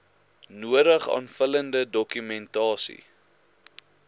nodige aanvullende dokumentasie